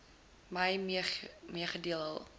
my meegedeel hul